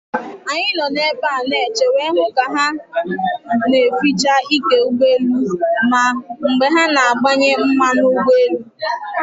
Anyị nọ na ebe a na eche wee hụ ka ha na eficha ike ụgbọ elu, ma mgbe ha na agbanye mmanụ ụgbọ elu